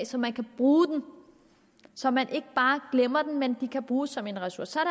så man kan bruge dem så man ikke bare glemmer dem men de kan bruges som en ressource så er